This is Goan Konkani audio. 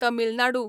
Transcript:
तमिलनाडू